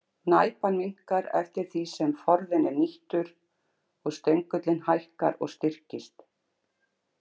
Næpan minnkar eftir því sem forðinn er nýttur og stöngullinn hækkar og styrkist.